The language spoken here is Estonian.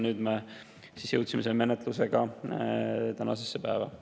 Nüüd me oleme jõudnud selle menetlusega tänasesse päeva.